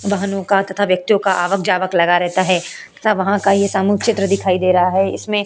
वाहनों का तथा वेक्तियो का आवक जावक लगा रहता है तथा वहाँ का एक सामूहिक चित्र दिखाई दे रहा है। इसमें --